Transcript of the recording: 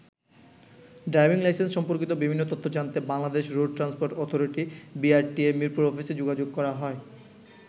Driving licence সম্পর্কিত বিভিন্ন তথ্য জানতে Bangladesh road transport authority BRTA ,Mirpur অফিসে যোগাযোগ করা হয়।